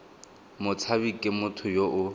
motshabi ke motho yo o